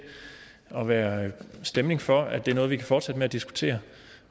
at være stemning for at det er noget vi kan fortsætte med at diskutere